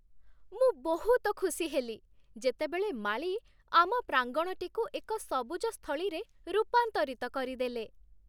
ମୁଁ ବହୁତ ଖୁସି ହେଲି, ଯେତେବେଳେ ମାଳୀ ଆମ ପ୍ରାଙ୍ଗଣଟିକୁ ଏକ ସବୁଜ ସ୍ଥଳୀରେ ରୂପାନ୍ତରିତ କରିଦେଲେ।